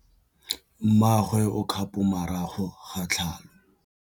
Mmagwe o kgapô morago ga tlhalô.